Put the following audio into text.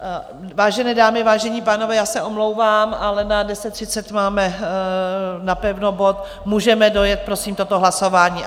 Vážené dámy, vážení pánové, já se omlouvám, ale na 10.30 máme napevno bod, můžeme dojet, prosím, toto hlasování?